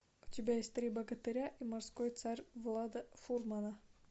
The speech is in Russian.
у тебя есть три богатыря и морской царь влада фурмана